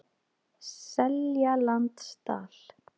Seljalandsdal